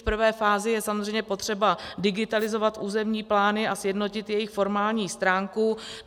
V prvé fázi je samozřejmě potřeba digitalizovat územní plány a sjednotit jejich formální stránku.